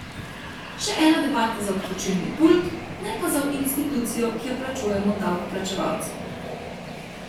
Še ena debata za ob točilni pult, ne pa za v institucijo, ki jo plačujemo davkoplačevalci.